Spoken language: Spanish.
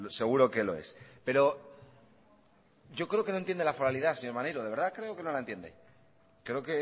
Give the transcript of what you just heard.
seguro que lo es pero yo creo que no entiende la foralidad señor maneiro de verdad creo que no la entiende creo